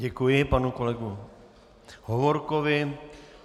Děkuji panu kolegu Hovorkovi.